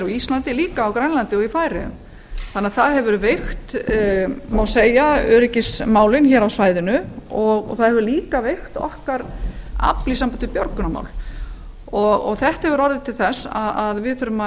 íslandi grænlandi og í færeyjum segja má að öryggismálin hafi veikst hér á svæðinu og þá sömuleiðis afl okkar í björgunarmálum það hefur orðið til þess að við þurfum að